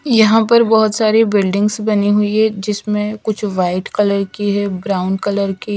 यहां पर बहोत सारी बिल्डिंग्स बनी हुई है जिसमें कुछ व्हाइट कलर की है ब्राउन कलर की--